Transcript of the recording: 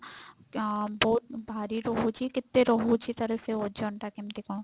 ଆ ବହୁତ ଭାରି ରହୁଛି କେତେ ରହୁଛି ତାର ସେ ଓଜନ ଟା କେମତି କଣ?